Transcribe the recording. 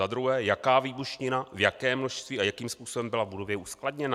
Za druhé: Jaká výbušnina, v jakém množství a jakým způsobem byla v budově uskladněna?